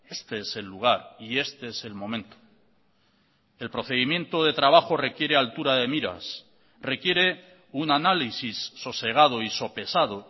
este es el lugar y este es el momento el procedimiento de trabajo requiere altura de miras requiere un análisis sosegado y sopesado